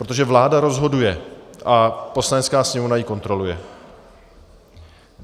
Protože vláda rozhoduje a Poslanecká sněmovna ji kontroluje.